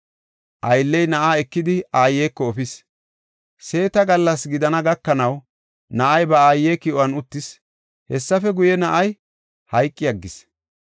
Aylley na7aa ekidi, aayeko efis. Seeta gallas gidana gakanaw, na7ay ba aaye ki7on uttis; hessafe guye, na7ay hayqi aggis.